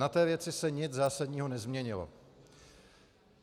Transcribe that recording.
Na té věci se nic zásadního nezměnilo.